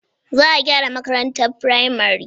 Za a gyara makarantar firamare.